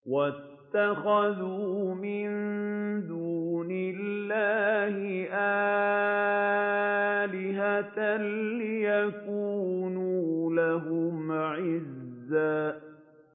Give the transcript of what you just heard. وَاتَّخَذُوا مِن دُونِ اللَّهِ آلِهَةً لِّيَكُونُوا لَهُمْ عِزًّا